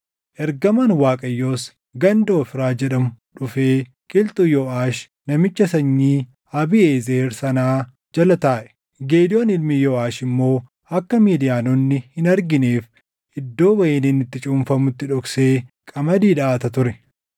Ergamaan Waaqayyoos ganda Ofraa jedhamu dhufee qilxuu Yooʼaash namicha sanyii Abiiʼezer sanaa jala taaʼe; Gidewoon ilmi Yooʼaash immoo akka Midiyaanonni hin argineef iddoo wayiniin itti cuunfamutti dhoksee qamadii dhaʼata ture.